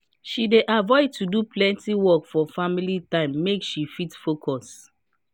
she dey avoid to do plenty work for family time make she fit focus.